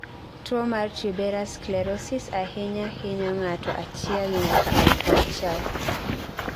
tuo mar Tuberous sclerosis ahinya hinyo ng'ato achiel nyaka alufu auchiel